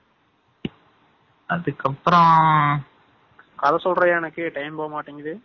அதுக்கப்பறம் கத சொல்றியா எனக்கு time போகமாடிக்கிது.